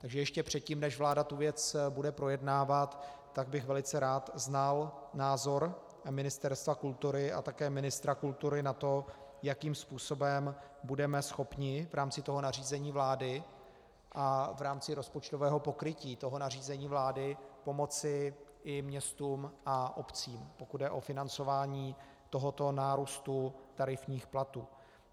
Takže ještě předtím, než vláda tu věc bude projednávat, tak bych velice rád znal názor Ministerstva kultury a také ministra kultury na to, jakým způsobem budeme schopni v rámci toho nařízení vlády a v rámci rozpočtového pokrytí toho nařízení vlády pomoci i městům a obcím, pokud jde o financování tohoto nárůstu tarifních platů.